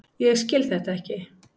Ég skil þetta ekki!